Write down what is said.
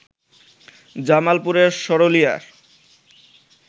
জামালপুরের সরুলিয়ায়